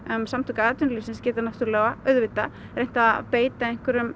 samtök atvinnulífsins geta náttúrulega auðvitað reynt að beita einhverjum